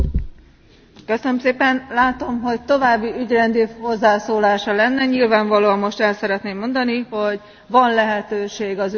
Látom, hogy további ügyrendi hozzászólása lenne, nyilvánvalóan most el szeretném mondani, hogy van lehetőség az ülés félbeszakítására.